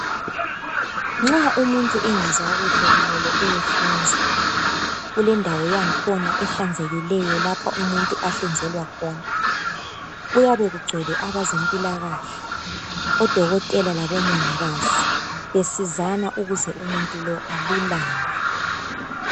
Nxa umuntu engezwa kuhle kumele eyehlinzwa. Kulendawo yankhona ehlanzekileyo lapho umuntu ahlinzelwa khona. Kuyabe kucwele abezempilakahle odokotela labomongikazi besizana ukuze umuntu lo alulame.